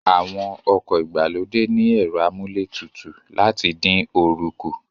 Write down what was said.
Àwọn ọkọ̀ ìgbàlódé ní ẹ̀rọ amúlé tutù láti dín oorun kù